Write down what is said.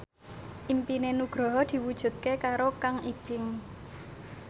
impine Nugroho diwujudke karo Kang Ibing